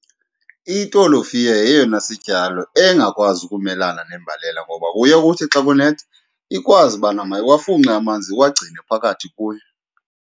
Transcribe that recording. Itolofiya yeyona sityalo engakwazi ukumelana nembalela, ngoba kuye kuthi xa kunetha ikwazi ubana mayiwafunxe amanzi iwagcine phakathi kuyo.